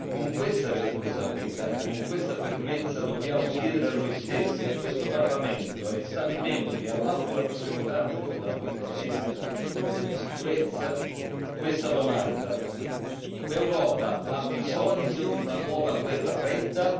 Con questa responsabilità e con questa fermezza dobbiamo porre a noi stessi, a questo Parlamento, agli Stati membri, all'Alto rappresentante per la politica estera e di sicurezza questa domanda l'Europa ha bisogno di una nuova guerra fredda?